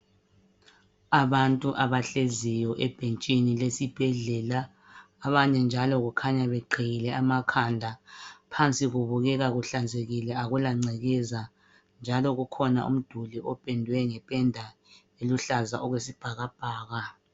Abantu abahleziyo ebhentshini lesibhedlela. Abanye njalo kukhanya beqhiyile amakhanda. Phansi kubukeka kuhlanzekile akula ngcekeza. Njalo kukhona umduli opendwe ngependa eluhlaza okwesibhakabhaka.